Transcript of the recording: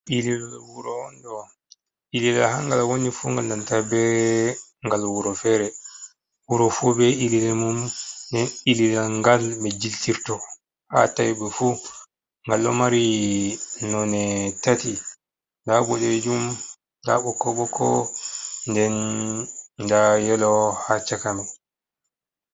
Ililaal wuro'onɗo, ilila ha ngal woonifu ngal nandaa be ngal wuro fere. Wuroufu be ilila mum nden ilila ngal ɓe jiltirto ha tawiiɓefu 'ngal ɗo maari none tati. Nda buɗejum nda bokko bokko nden nda yeelo ha chaka maii.